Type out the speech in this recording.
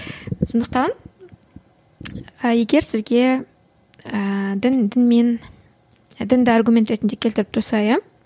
сондықтан і егер сізге ііі дін дінмен дінді аргумент ретінде келтіріп тұрса иә